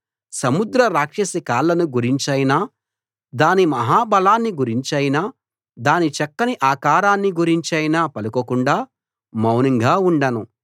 సముద్ర రాక్షసి కాళ్ళను గురించైనా దాని మహా బలాన్ని గురించైనా దాని చక్కని ఆకారాన్ని గురించైనా పలకకుండా మౌనంగా ఉండను